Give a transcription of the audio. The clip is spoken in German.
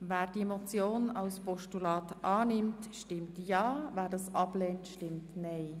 Wer das Postulat annimmt, stimmt ja, wer es ablehnt, stimmt nein.